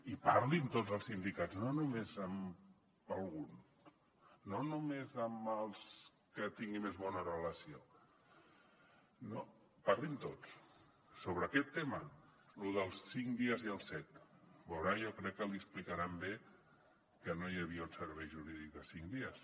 i parli amb tots els sindicats no només amb algun no només amb els que tingui més bona relació no parli amb tots sobre aquest tema lo dels cinc dies i els set veurà jo crec que li explicaran bé que no hi havia un servei jurídic de cinc dies